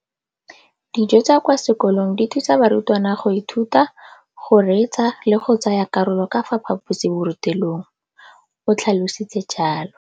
Dijo tsa kwa sekolong dithusa barutwana go ithuta, go reetsa le go tsaya karolo ka fa phaposiborutelong, o tlhalositse jalo.